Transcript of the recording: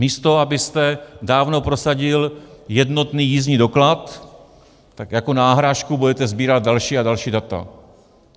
Místo abyste dávno prosadil jednotný jízdní doklad, tak jako náhražku budete sbírat další a další data.